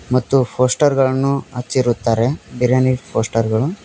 ಮತ್ತು ಪೋಸ್ಟರ್ಗ ಳನ್ನು ಹಚ್ಚಿರುತ್ತಾರೆ ಬಿರಿಯಾನಿ ಪೋಸ್ಟರ್ ಗಳು.